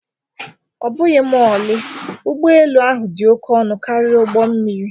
Ọbụghị ma ọlị, ụgbọ elu ahụ dị oke ọnụ karịa ụgbọ mmiri